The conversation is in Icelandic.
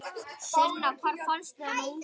Sunna: Hvar fannstu þennan unga?